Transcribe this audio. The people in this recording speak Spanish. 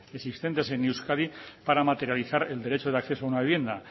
existentes en euskadi para materializar el derecho de acceso a una vivienda